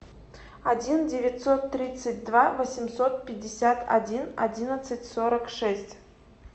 один девятьсот тридцать два восемьсот пятьдесят один одиннадцать сорок шесть